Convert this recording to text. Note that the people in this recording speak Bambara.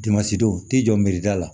Dimansi don ti jɔ mirida la